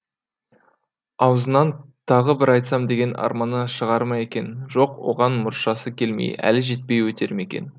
аузынан тағы бір айтсам деген арманы шығар ма екен жоқ оған мұршасы келмей әлі жетпей өтер ме екен